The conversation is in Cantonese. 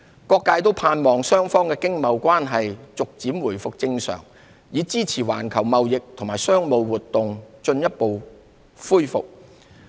各界都盼望雙方的經貿關係逐漸回復正常，以支持環球貿易和商務活動進一步恢復。